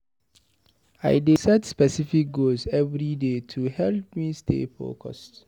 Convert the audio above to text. I dey set specific goals everyday to help me stay focused.